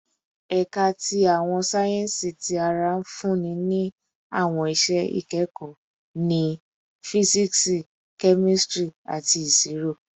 Ẹka ti Awọn sáyẹnsì Ti ara nfunni ni awọn iṣẹ ikẹkọ ni Fisiksi, Kemistri, ati Iṣiro